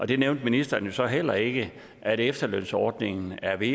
og det nævnte ministeren så heller ikke at efterlønsordningen er ved